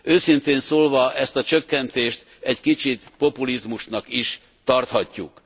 Őszintén szólva ezt a csökkentést egy kicsit populizmusnak is tarthatjuk.